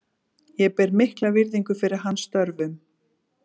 Ég ber mikla virðingu fyrir hans störfum.